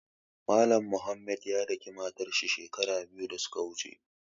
Mallam Mohammed ya daƙi matar shi shekaru biyu da su ka wuche.